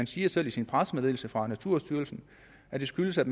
siger selv i pressemeddelelsen fra naturstyrelsen at det skyldes at